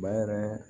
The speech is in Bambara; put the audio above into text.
Baara